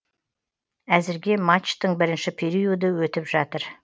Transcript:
әзірге матчтың бірінші периоды өтіп жатыр